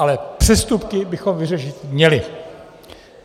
Ale přestupky bychom vyřešit měli.